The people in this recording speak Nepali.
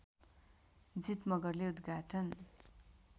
जित मगरले उदघाटन